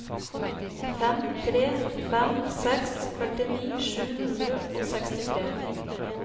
fem tre fem seks førtini sju hundre og sekstitre